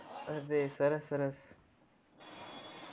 અરે સરસ સરસ